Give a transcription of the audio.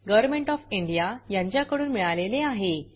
government of India कडून अर्थसहाय्य मिळाले आहे